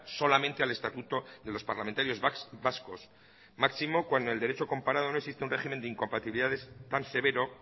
solamente al estatuto de los parlamentarios vascos máximo cuando el derecho comparado no existe un régimen de incompatibilidades tan severo